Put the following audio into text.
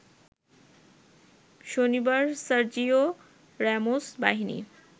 শনিবার Sergio Ramos বাহিনী